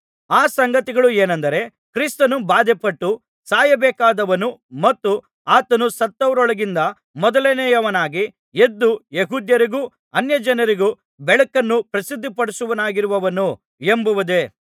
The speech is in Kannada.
ಆ ಸಂಗತಿಗಳು ಏನೆಂದರೆ ಕ್ರಿಸ್ತನು ಬಾಧೆಪಟ್ಟು ಸಾಯಬೇಕಾದವನು ಮತ್ತು ಆತನು ಸತ್ತವರೊಳಗಿಂದ ಮೊದಲನೆಯವನಾಗಿ ಎದ್ದು ಯೆಹೂದ್ಯರಿಗೂ ಅನ್ಯಜನರಿಗೂ ಬೆಳಕನ್ನು ಪ್ರಸಿದ್ಧಿಪಡಿಸುವವನಾಗಿರುವನು ಎಂಬುದೇ